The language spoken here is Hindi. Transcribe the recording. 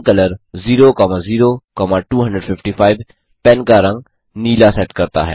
पेनकलर 00255 पेन का रंग नीला सेट करता है